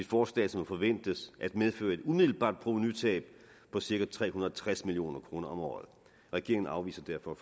forslag som forventes at medføre et umiddelbart provenutab på cirka tre hundrede og tres million kroner om året regeringen afviser derfor